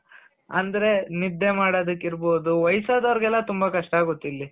ಅಂದ್ರೆ ನಿದ್ದೆ ಮಾದೋದುಕ್ಕಿರ್ಬೋದು ವಯಸ್ಸದವ್ರ್ಗೆಲ್ಲ ತುಂಬ ಕಷ್ಟ ಆಗುತ್ತಿಲ್ಲಿ